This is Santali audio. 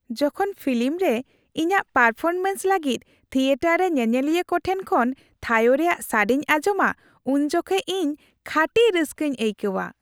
ᱡᱚᱠᱷᱚᱱ ᱯᱷᱤᱞᱤᱢ ᱨᱮ ᱤᱧᱟᱹᱜ ᱯᱟᱨᱯᱷᱚᱨᱢᱮᱱᱥ ᱞᱟᱹᱜᱤᱫ ᱛᱷᱤᱭᱮᱴᱟᱨ ᱨᱮ ᱧᱮᱧᱮᱞᱤᱭᱟᱹ ᱠᱚ ᱴᱷᱮᱱ ᱠᱷᱚᱱ ᱛᱷᱟᱭᱳ ᱨᱮᱭᱟᱜ ᱥᱟᱰᱮᱧ ᱟᱸᱡᱚᱢᱟ ᱩᱱ ᱡᱚᱠᱷᱮᱱ ᱤᱧ ᱠᱷᱟᱹᱴᱤ ᱨᱟᱹᱥᱠᱟᱹᱧ ᱟᱹᱭᱠᱟᱹᱣᱟ ᱾